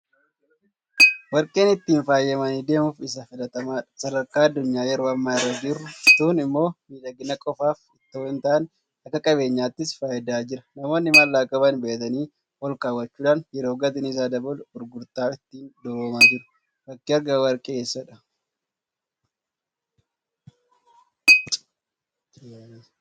Warqeen Ittiin faayamanii deemuuf isa filatamaadha. Sadarkaa addunyaan yeroo ammaa irra jirtuun immoo miidhagina qofaaf itoo hintaane akka qabeenyaattis fayyadaa jira. Namoonni maallaqa qaban bitatanii olkaawwachuudhaan yeroo gatiin isaa dabalu gurguratanii ittiin duroomaa jiru. Bakki argama Warqee eessadha?